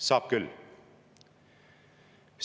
Saab küll!